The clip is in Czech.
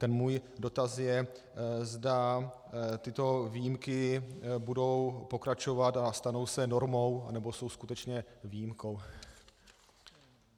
Ten můj dotaz je, zda tyto výjimky budou pokračovat a stanou se normou, anebo jsou skutečně výjimkou.